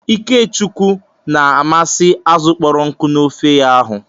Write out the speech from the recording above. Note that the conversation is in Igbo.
Ikechukwu na-amasị azụ kpọrọ nkụ na ofe ya.hu